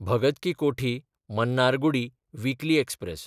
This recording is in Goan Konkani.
Bhagat ki Kothi Mannargudi weekly express